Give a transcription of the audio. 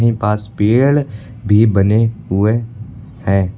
पास पेड़ भी बने हुए हैं।